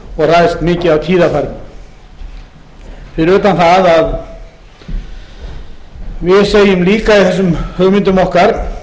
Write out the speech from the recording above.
ræðst mikið af tíðarfarinu fyrir utan það að við segjum líka í þessum hugmyndum okkar